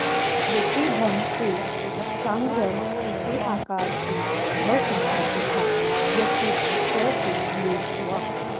यचि भम् से शार्ङ्गरव के अकार की भ संज्ञा तथा यस्येति च से लोप हुआ